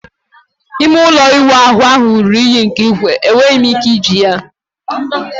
ime ụlọ ịwụ ahụ ruru unyi nke ukwuu, enweghị m ike iji ya